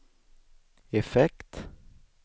effekt